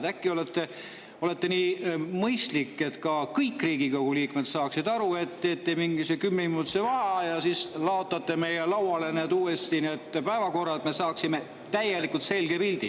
Äkki olete nii mõistlik ja teete selleks, et kõik Riigikogu liikmed saaksid aru, mingi kümneminutilise vaheaja ja siis laotate meie lauale uuesti need päevakorrad, et me saaksime täielikult selge pildi.